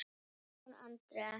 Guðrún Andrea,?